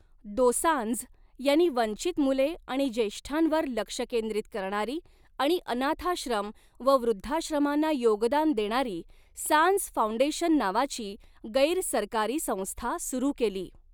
दोसांझ यांनी वंचित मुले आणि ज्येष्ठांवर लक्ष केंद्रित करणारी आणि अनाथाश्रम व वृद्धाश्रमांना योगदान देणारी सांझ फाउंडेशन नावाची गैरसरकारी संस्था सुरू केली.